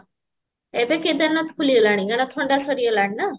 ଏବେ କେଦାର ନାଥ ଖୋଲିଗଲାଣି କାହିଁକି ନାଁ ଥଣ୍ଡା ସରିଗଲାଣି ନାଁ